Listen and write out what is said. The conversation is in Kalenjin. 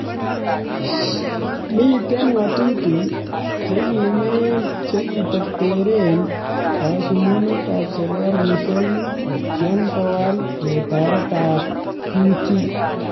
Miten ngatutik chekimen chekiterteren kasumumetab serikalishek kotyem kowal letaet ab kutik